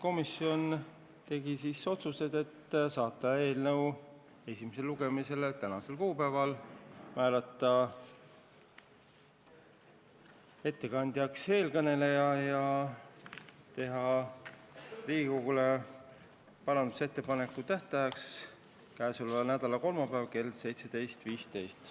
Komisjon tegi menetluslikud otsused: saata eelnõu esimesele lugemisele tänaseks kuupäevaks, määrata ettekandjaks teie ees kõneleja ja parandusettepanekute tähtajaks selle nädala kolmapäev kell 17.15.